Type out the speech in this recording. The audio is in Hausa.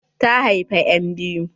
Ta haifa enbiyu.